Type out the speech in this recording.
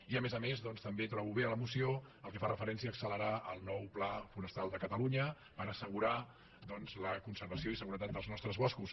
i a més a més doncs també trobo bé a la moció el que fa referència a accelerar el nou pla forestal de catalunya per assegurar la conservació i seguretat dels nostres boscos